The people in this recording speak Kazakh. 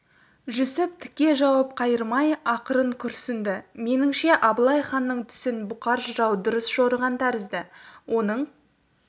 жүсіп тіке жауап қайырмай ақырын күрсінді меніңше абылай ханның түсін бұқар жырау дұрыс жорыған тәрізді оның